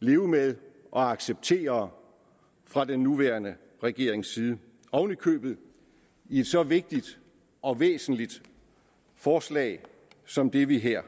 leve med og acceptere fra den nuværende regerings side oven i købet i et så vigtigt og væsentligt forslag som det vi her